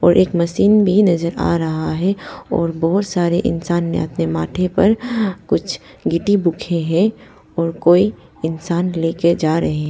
और एक मशीन भी नजर आ रहा है और बहोत सारे इंसान ने अपने माथे पर कुछ गिट्टी बुखे है और कोई इंसान लेके जा रहे --